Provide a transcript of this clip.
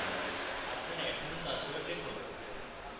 আপনার admin password লিখুন